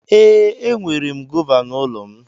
Ee, enwere gọva n'ụlọ m.